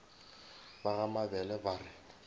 ba ga mabele ba re